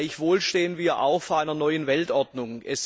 Gleichwohl stehen wir auch vor einer neuen Weltordnung.